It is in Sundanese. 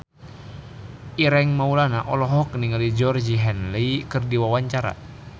Ireng Maulana olohok ningali Georgie Henley keur diwawancara